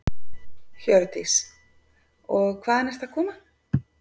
Hjördís: Og hvaðan ertu að koma?